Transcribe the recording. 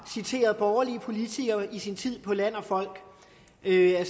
citere borgerlige politikere i sin tid på land og folk det er